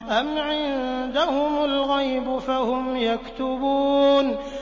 أَمْ عِندَهُمُ الْغَيْبُ فَهُمْ يَكْتُبُونَ